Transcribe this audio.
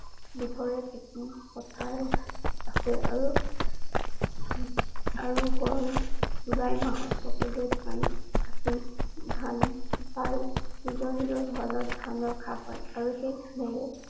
বিধৰে খেতি পথাৰ আছে আৰু~আৰু। গৰম জুলাই মাহত সকলোৱে ধান খেতি ধান ছপাই নিজৰ নিজৰ ঘৰত ধান ৰখা হয়। আৰু সেই ধানেৰে সকলোতে